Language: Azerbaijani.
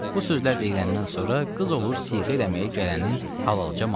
Bu sözlər deyiləndən sonra qız olur siğə eləməyə gələnin halalca malı.